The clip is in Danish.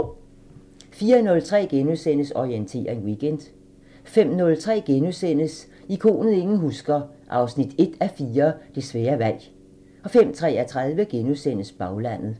04:03: Orientering Weekend * 05:03: Ikonet ingen husker – 1:4 Det svære valg * 05:33: Baglandet *